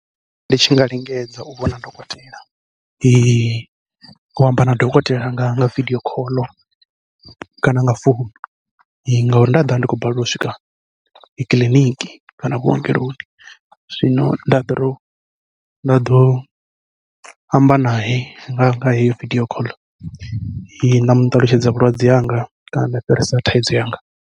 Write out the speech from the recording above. Ndi tshi nga lingedza u vhona dokotela, u amba na dokotela nga nga vidio call kana nga founu ngauri nda ḓovha ndi khou balelwa u swika kiḽiniki kana vhuongeloni, zwino nda ḓo tou nda ḓo amba nae nga nga heyo vidio call nda muṱalutshedza vhulwadze hanga kana nda fhirisa thaidzo yanga.